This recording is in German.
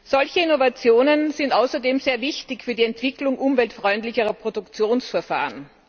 Solche Innovationen sind außerdem sehr wichtig für die Entwicklung umweltfreundlicherer Produktionsverfahren.